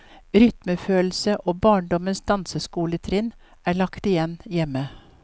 Rytmefølelse og barndommens danseskoletrinn er lagt igjen hjemme.